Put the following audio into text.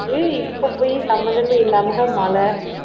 இப்ப போய் சம்பந்தமே இல்லாமதான் மழை